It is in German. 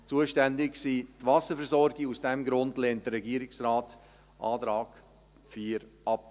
Zuständig sind die Wasserversorgungen, und aus diesem Grund lehnt der Regierungsrat den Antrag 4 ab.